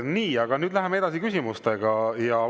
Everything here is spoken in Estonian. Nii, aga nüüd läheme küsimustega edasi.